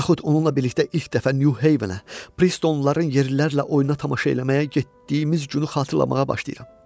Yaxud onunla birlikdə ilk dəfə New Havenə, Pristonluların yerlilərlə oyuna tamaşa eləməyə getdiyimiz günü xatırlamağa başlayıram.